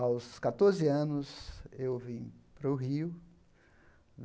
Aos catorze anos, eu vim para o Rio.